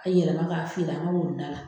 A yɛlɛma k'a feere an ka woninda la.